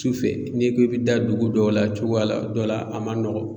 Cu fɛ n'i ko i be da dugu dɔw la cogoya la dɔ la a ma nɔgɔn.